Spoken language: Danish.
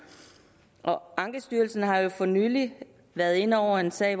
ankestyrelsen har jo for nylig været inde over en sag